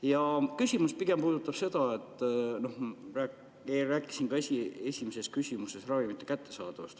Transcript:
Mu küsimus aga puudutab seda, et ma rääkisin ka esimeses küsimuses ravimite kättesaadavusest.